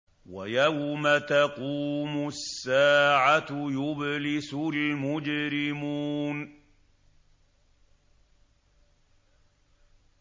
وَيَوْمَ تَقُومُ السَّاعَةُ يُبْلِسُ الْمُجْرِمُونَ